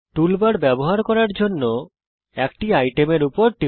টুল ব্যবহার করার জন্যে যে কোনো একটি আইটেমের উপর টিপুন